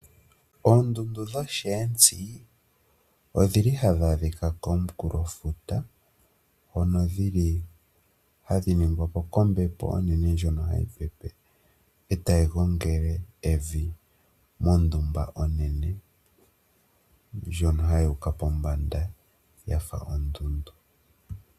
Oondundu dhoshiyentsi odhili hadhi adhikwa komukulofuta hono dhili hadhi ningwapo kombepo onene ndjono hayi gongele evi mondunda onene, ndjono hayi kala yuuka pombanda yafa oondundu.